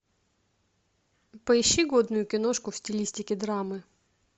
поищи годную киношку в стилистике драмы